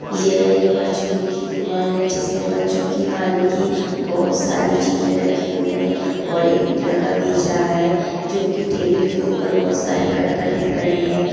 यह एक परचूनी की दुकान है जिसमे बच्चों की खाने की बहुत सारी चीजे रखी हुई है और एक लड़का बेच रहा है जो की टेबल के उपर बहुत सारी दिख रहे है।